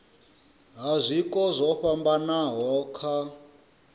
ha zwiko zwo fhambanaho kha